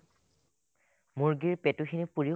মুৰ্গীৰ পেটুখিনি পোৰিও